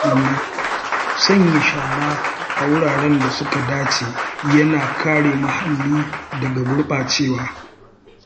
Sanya shara a wuraren da suka dace yana kare muhalli daga gurɓacewa.